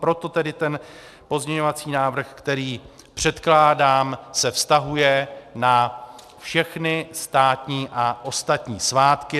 Proto tedy ten pozměňovací návrh, který předkládám, se vztahuje na všechny státní a ostatní svátky.